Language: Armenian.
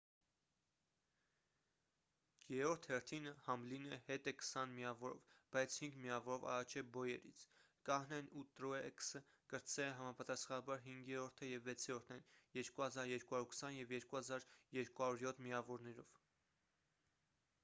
երրորդ հերթին համլինը հետ է քսան միավորով բայց հինգ միավորով առաջ է բոյերից կահնեն և տրուեքս կրտսերը համապատասխանաբար հինգերորդը և վեցերորդն են 2,220 և 2,207 միավորներով